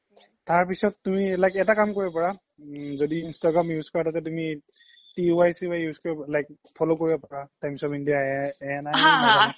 তাৰ পিছ্ত লাগে তুমি এটা কাম কৰিব পাৰা য্দি instagram use কৰা তাতে তুমি use like follow কৰিব পাৰা times of india